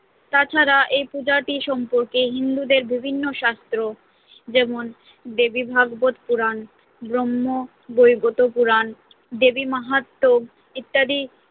তাছাড়া এই পূজাটি সম্পর্কে হিন্দুদের বিভিন্ন শাস্ত্র যেমন, দেবীভাগবত পুরাণ, ব্রহ্মবৈবর্ত পুরাণ, দেবীমাহাত্ম্যম্ ইত্যাদি